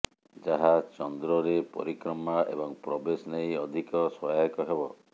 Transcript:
ଯାହା ଚନ୍ଦ୍ରରେ ପରିକ୍ରମା ଏବଂ ପ୍ରବେଶ ନେଇ ଅଧିକ ସହାୟକ ହେବ